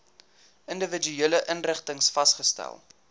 individuele inrigtings vasgestel